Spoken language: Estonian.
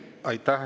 Aitäh!